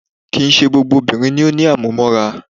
Kìí ṣe gbogbo obìnrin ni o ní àmúmóra.